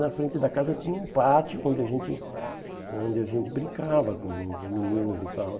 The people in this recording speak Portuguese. Na frente da casa tinha um pátio onde a gente onde a gente brincava com os meninos e tal.